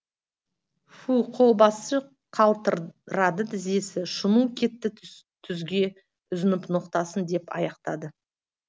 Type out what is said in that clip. фү қолбасшы қалтырады тізесі шуну кетті түзге үзіп ноқтасын деп аяқтайды